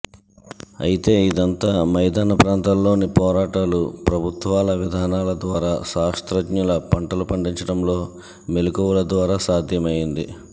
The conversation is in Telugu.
అయితే ఇదంతా మైదాన ప్రాంతాల్లోని పోరాటాలు ప్రభుత్వాల విధానాల ద్వారా శాస్త్రజ్ఞులు పంటలు పండించడంలో మెలకువల ద్వారా సాధ్యం అయ్యింది